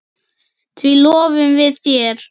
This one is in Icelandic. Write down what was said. Því lofum við þér!